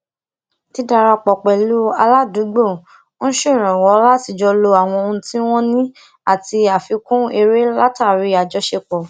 didarapo pelu aládùúgbò ń ṣèrànwó láti jo lo àwọn ohun ti won ni ati afikun ere latari ajosepo